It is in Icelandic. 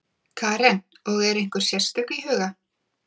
Karen: Og er einhver sérstök í huga?